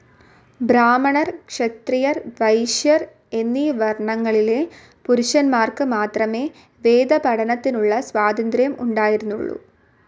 ബ്രാഹ്മണർ ക്ഷത്രിയർ വൈശ്യർ എന്നീ വർണങ്ങളിലെ പുരുഷന്മാർക്ക് മാത്രമേ വേദപഠനത്തിനുള്ള സ്വാതന്ത്ര്യം ഉണ്ടായിരുന്നുള്ളു.